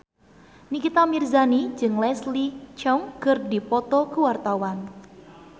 Nikita Mirzani jeung Leslie Cheung keur dipoto ku wartawan